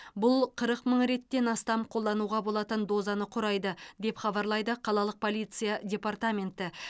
бұл қырық мың реттен астам қолдануға болатын дозаны құрайды деп хабарлайды қалалық полиция департаменті